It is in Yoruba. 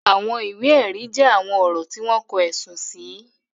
Àwọn ìwé ẹ̀rí jẹ́ àwọn ọ̀rọ̀ tí wọ́n kọ, ẹ̀sùn sì.